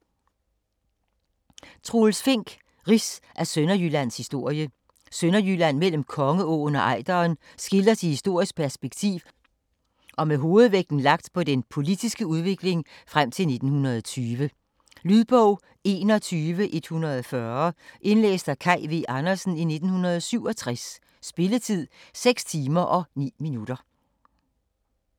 Fink, Troels: Rids af Sønderjyllands historie Sønderjylland mellem Kongeåen og Ejderen skildres i historisk perspektiv og med hovedvægten lagt på den politiske udvikling frem til 1920. Lydbog 21140 Indlæst af Kaj V. Andersen, 1967. Spilletid: 6 timer, 9 minutter.